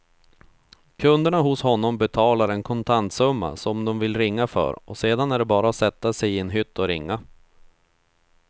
Kunderna hos honom betalar en kontantsumma som de vill ringa för och sedan är det bara att sätta sig i en hytt och ringa.